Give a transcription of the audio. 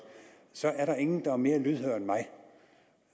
så er der ingen der er mere lydhør end mig